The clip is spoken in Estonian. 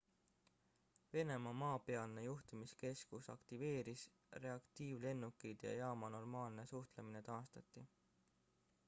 venemaa maapealne juhtimiskeskus aktiveeris reaktiivlennukid ja jaama normaalne suhtumine taastati